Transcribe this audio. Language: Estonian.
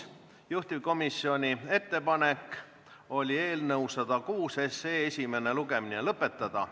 Juhtivkomisjoni ettepanek oli eelnõu 106 esimene lugemine lõpetada.